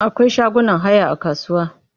Akwai shagunan haya a kasuwa.